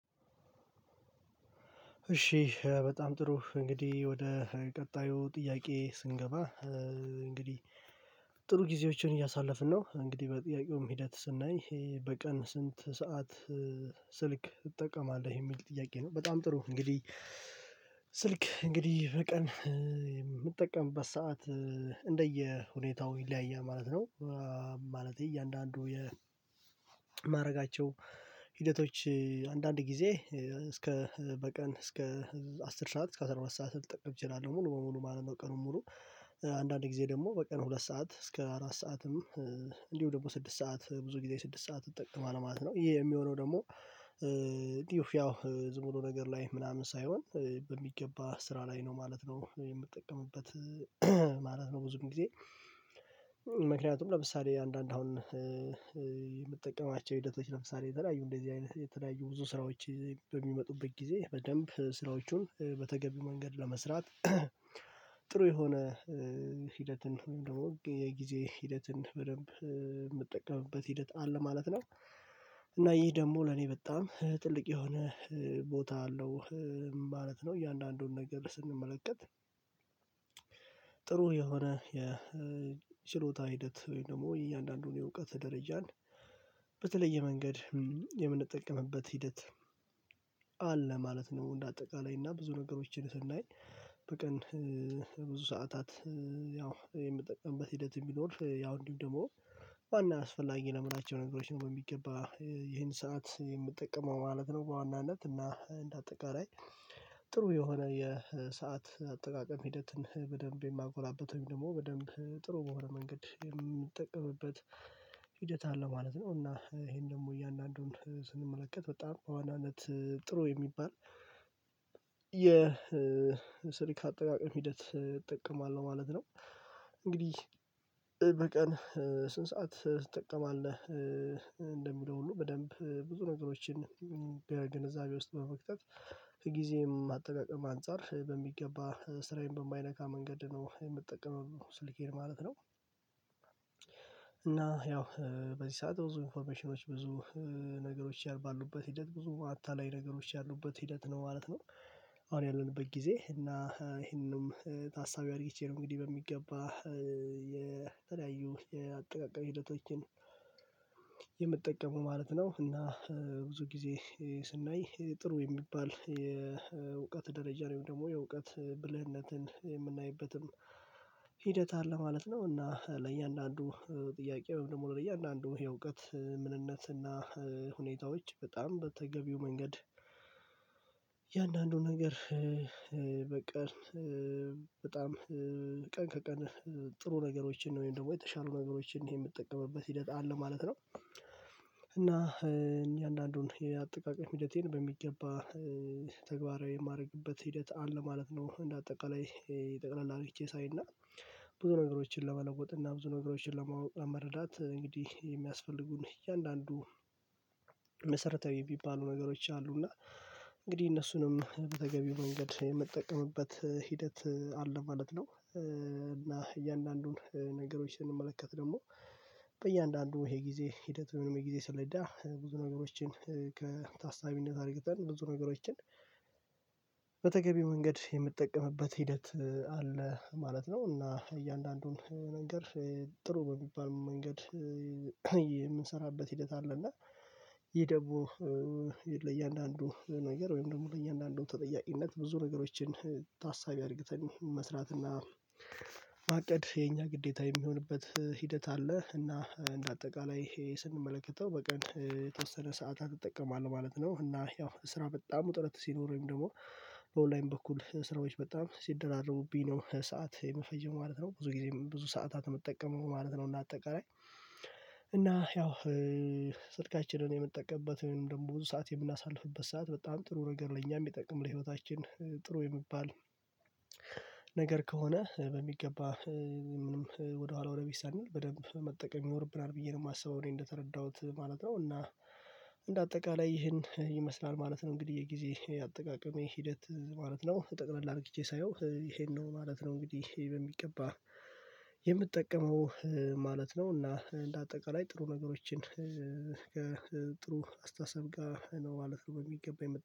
እሺ በጣም ጥሩ እንግዲህ ወደ ቀጣዩ ጥያቄ ስንገባ። እንግዲህ ጥሩ ጊዜዎችን እያሳለፍን ነው እንግዲህ በጥያቄውም ሂደት ስናይ በቀን ስንት ሰዓት? ስልክ እጠቀማለሁ የሚል ጥያቄ ነው። በጣም ጥሩ እንግዲህ ስልክ እንግዲህ በቀን የምጠቀምበት ሰዓት እንደየሁኔታው ይለያያል ማለት ነው። እያንዳንዱ የማረጋቸው ሂደቶች አንዳንድ ጊዜ እስከ በቀን እስከ አስር ሰዓት እስከ አስራ ሁለት ሰዓት ልጠቅም እችላለሁ ሙሉ በሙሉ ማለት ነው። ቀኑ ሙሉ አንዳንድ ጊዜ ደግሞ በቀን ሁለት ሰዓት እስከ አራት ሰዓትም እንዲሁ ደግሞ ስድስት ሰዓት ብዙ ጊዜ ስድስት ሰዓት እጠቀማለሁ ማለት ነው። ይሄ የሚሆነው ደግሞ ዲዩፍ ያው ዝም ብሎ ነገር ላይ ምናምን ሳይሆን በሚገባ ስራ ላይ ነው ማለት ነው የምትጠቀምበት ማለት ነው። ብዙም ጊዜ ምክንያቱም ለምሳሌ አንዳንድ አሁን የምጠቀማቸው ሂደቶች ለምሳሌ የተለያዩ እንደዚህ አይነት የተለያዩ ብዙ ስራዎች በሚመጡበት ጊዜ በደንብ ስራዎቹን በተገቢ መንገድ ለመስራት። ጥሩ የሆነ ሂደትን ደግሞ የጊዜ ሂደትን በደንብ የምጠቀምበት ሂደት አለ ማለት ነው፤ እና ይህ ደግሞ ለኔ በጣም ትልቅ የሆነ ቦታ አለው ማለት ነው። እያንዳንዱን ነገር ስንመለከት ጥሩ የሆነ የችሎታ ሂደት ወይም ደግሞ እያንዳንዱን የእውቀት ደረጃን በተለየ መንገድ የምንጠቀምበት ሂደት አለ ማለት ነው። እንደ አጠቃላይ እና ብዙ ነገሮችን ስናይ በቀን ብዙ ሰዓታት ያው የምጠቀምበት ሂደት የሚኖር ያው እንዲሁ ደግሞ ዋና አስፈላጊ ለምን አይነት ነገሮች ነው በሚገባ ይሄን ሰዓት የምጠቀመው ማለት ነው። በዋናነት እና እንደ አጠቃላይ ጥሩ የሆነ የሰዓት አጠቃቀም ሂደትን በደንብ የማጎላበተው ደግሞ በደንብ ጥሩ በሆነ መንገድ የምንጠቀምበት ሂደት አለ ማለት ነው። እና ይሄን ደግሞ እያንዳንዱን ስንመለከት በጣም በዋናነት ጥሩ የሚባል የስልክ አጠቃቀም ሂደት እጠቀማለሁ ማለት ነው። እንግዲህ በቀን ስንት ሰዓት ትጠቀማለህ ለሚለው ሁሉ በደንብ ብዙ ነገሮችን በግንዛቤ ውስጥ በመክተት ከጊዜም አጠቃቀም አንፃር በሚገባ ስራዬን በማይነካ መንገድ ነው የምጠቀመው ስልኬን ማለት ነው። እና ያው በዚህ ሰዓት ብዙ ኢንፎርሜሽኖች ብዙ ነገሮች ባሉበት ሂደት ብዙ አታላይ ነገሮች ያሉበት ሂደት ነው ማለት ነው። አሁን ያለንበት ጊዜ እና ይሄንንም ታሳቢ አድርጌቼ ነው እንግዲህ በሚገባ የተለያዩ የአጠቃቀም ሂደቶችን የምትጠቀመው ማለት ነው። እና ብዙ ጊዜ ስናይ ጥሩ የሚባል የእውቀት ደረጃ ወይም ደግሞ የእውቀት ብልህነትን የምናይበትም ሂደት አለ ማለት ነው። እና ለእያንዳንዱ ጥያቄ ደግሞ ለእያንዳንዱ የእውቀት ምንነትና ሁኔታዎች በጣም በተገቢው መንገድ እያንዳንዱ ነገር በቀን በጣም ቀን ከቀን ጥሩ ነገሮችን ወይም ደግሞ የተሻሉ ነገሮችን የምጠቀምበት ሂደት አለ ማለት ነው። እና እኔ አንዳንዱን የአጠቃቀም ሂደቴን በሚገባ ተግባራዊ የማድረግበት ሂደት አለ ማለት ነው። እንደ አጠቃላይ የጠቅላላ ሪቼ ሳይና ብዙ ነገሮችን ለመለወጥ እና ብዙ ነገሮችን ለማወቅ እና ለመረዳት እንግዲህ የሚያስፈልጉን እያንዳንዱ መሰረታዊ የሚባሉ ነገሮች አሉ እና እንግዲህ እነሱንም በተገቢው መንገድ የምጠቀምበት ሂደት አለ ማለት ነው። እና እያንዳንዱን ነገሮችን ስንመለከት ደግሞ በእያንዳንዱ ይሄ ጊዜ ሂደት ወይም የሚል ጊዜ ስለዳ ብዙ ነገሮችን ከታሳቢነት አድርገን ብዙ ነገሮችን በተገቢ መንገድ የምጠቀምበት ሂደት አለ ማለት ነው። እና እያንዳንዱን ነገር ጥሩ በሚባል መንገድ የምንሰራበት ሂደት አለ። እና ይሄ ደግሞ ለእያንዳንዱ ነገር ወይም ደግሞ ለእያንዳንዱ ተጠያቂነት ብዙ ነገሮችን ታሳቢ አድርግተን መስራትና ማቀድ የኛ ግዴታ የሚሆንበት ሂደት አለ። እና እንደ አጠቃላይ ስንመለከተው በቀን የተወሰነ ሰዓታት እጠቀማለህ ማለት ነው። እና ያው ስራ በጣም ውጥረት ሲኖር ወይም ደግሞ በኦንላይን በኩል ስራዎች በጣም ሲደራረቡብኝ ነው ሰዓት የምፈጀው ማለት ነው። ብዙ ጊዜ ብዙ ሰዓታትን የምጠቀመው ነው ማለት ነው። እና አጠቃላይ እና ያው ስልካችንን የምንጠቀምበትን ደግሞ ብዙ ሰዓት የምናሳልፍበት ሰዓት በጣም ጥሩ ነገር ለኛም የሚጠቅም ለህይወታችን ጥሩ የሚባል ነገር ከሆነ በሚገባ ምንም ወደኋላ ወደፊት ሳንል በደንብ መጠቀም ይኖርብናል ብዬ ነው የማስበው እኔ እንደተረዳሁት ማለት ነው። እና እንደ አጠቃላይ ይህን ይመስላል ማለት ነው። እንግዲህ የጊዜ አጠቃቀሜ ሂደት ማለት ነው ጠቅለል አድርጌዬ ሳየው ይሄን ነው ማለት ነው። እንግዲህ ይሄን በሚገባ የምጠቀመው ማለት ነው። እና እንደ አጠቃላይ ጥሩ ነገሮችን ከጥሩ አስተሳሰብ ጋር ነው ማለት ነው። የሚገባኝ